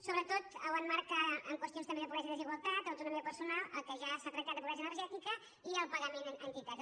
sobretot l’emmarca en qüestions també de pobresa i desigualtat autonomia personal el que ja s’ha tractat de pobresa energètica i el pagament a entitats